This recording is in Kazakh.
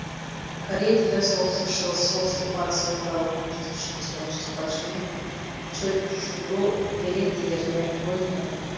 корей тілі солтүстік шығыс солтүстік батыс орталық оңтүстік шығыс оңтүстік батыс және чеджудо диалектілеріне бөлінеді